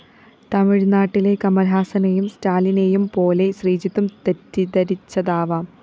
തമിഴ്‌നാട്ടിലെ കമല്‍ഹാസനേയും സ്റ്റാലിനേയുംപോലെ ശ്രീജിത്തും തെറ്റിദ്ധരിച്ചതാവാം